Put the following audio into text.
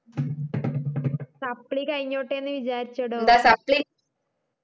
supply കഴിഞ്ഞോട്ടെന്ന് വിചാരിച്ചെടോ